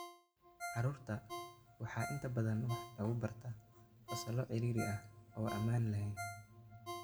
Caruurta rer waxaa inta badan wax lagu bartaa fasallo ciriiri ah oo aan ammaan ahayn.